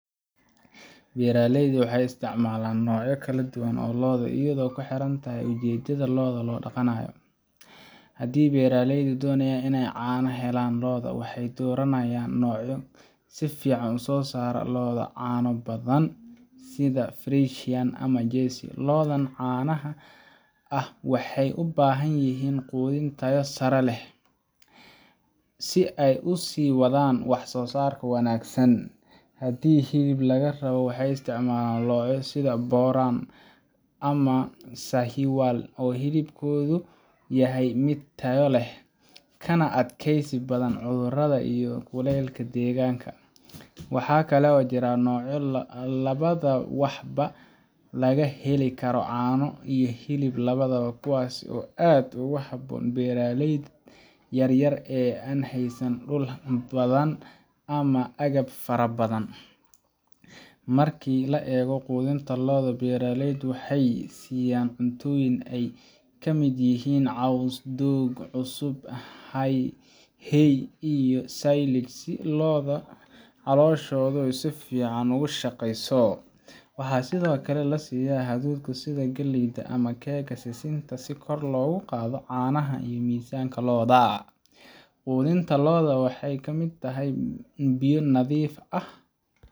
Beeraleyda waxay isticmaalaan noocyo kala duwan oo lo’ ah iyadoo ay ku xiran tahay ujeedada ay lo’da u dhaqayaan. Haddii beeraleydu doonayaan inay caano ka helaan lo’da, waxay dooranayaan noocyo si fiican u soo saara caano badan sida Friesian ama Jersey. Lo'dan caanaha ah waxay u baahan yihiin quudin tayo sare leh si ay u sii wadaan wax-soo-saarka wanaagsan. Haddii hilib laga rabo, waxay isticmaalaan noocyo sida Boran ama Sahiwal oo hilibkoodu yahay mid tayo leh kana adkaysi badan cudurrada iyo kulaylka deegaanka. Waxaa kale oo jira noocyo labada waxba laga heli karo, caano iyo hilib labadaba, kuwaas oo aad ugu habboon beeraleyda yaryar ee aan haysan dhul badan ama agab fara badan. Marka la eego quudinta lo’da, beeraleydu waxay siiyaan cuntooyin ay ka mid yihiin caws, doog cusub, hay, iyo silage si lo’da calooshoodu si fiican u shaqeyso. Waxaa sidoo kale la siiyaa hadhuudh sida galley ama keega sisinta si kor loogu qaado caanaha ama miisaanka lo’da. Quudinta lo’da waxaa ka mid ah biyo nadiif ah